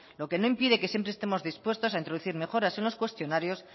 lo que no impide que siempre estemos dispuestos a introducir mejoras en los cuestionarios